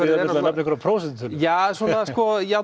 nefna einhverja prósentutölu já svona